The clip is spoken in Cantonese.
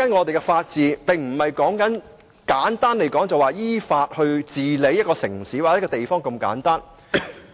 就以法治為例，香港的法治並非只是依法治理一個城市或地方般的簡單，